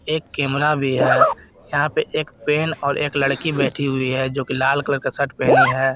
एक कैमरा भी है यहां पे एक पेन और एक लड़की बैठी हुई है जो की लाल कलर का शर्ट पहनी है।